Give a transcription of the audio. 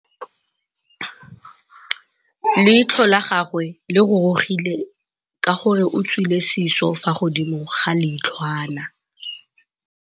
Leitlhô la gagwe le rurugile ka gore o tswile sisô fa godimo ga leitlhwana.